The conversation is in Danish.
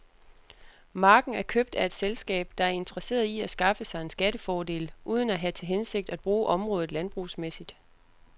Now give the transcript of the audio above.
Marken er købt af et selskab, der er interesseret i at skaffe sig en skattefordel, uden at have til hensigt at bruge området landbrugsmæssigt.